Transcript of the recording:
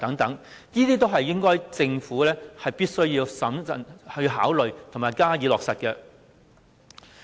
這些都是政府必須審慎考慮並加以落實的。